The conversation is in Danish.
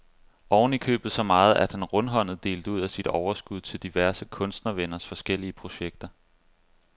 Oven i købet så meget, at han rundhåndet delte ud af sit overskud til diverse kunstnervenners forskellige projekter.